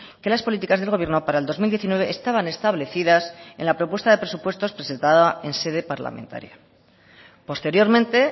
que las políticas del gobierno para el dos mil diecinueve estaban establecidas en la propuesta de presupuestos presentada en sede parlamentaria posteriormente